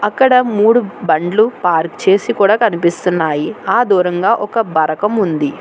అక్కడ మూడు బండ్లు పార్కు చేసి కూడా కనిపిస్తున్నాయి ఆ దూరంగా ఒక బరకం ఉంది.